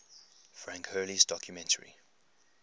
frank hurley's documentary